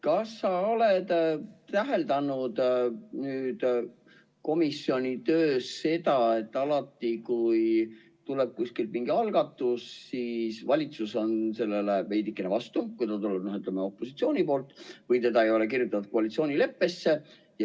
Kas oled täheldanud komisjoni töös seda, et alati, kui tuleb kuskilt mingi algatus, siis valitsus on sellele veidikene vastu, kui see tuleb opositsiooni poolt või seda ei ole kirjutatud koalitsioonileppesse.